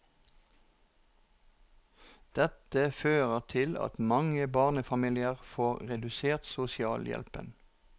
Dette fører til at mange barnefamilier får redusert sosialhjelpen.